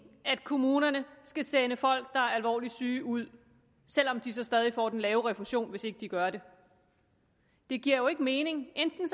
at kommunerne skal sende folk der er alvorligt syge ud selv om de så stadig får den lave refusion hvis ikke de gør det det giver jo ikke mening enten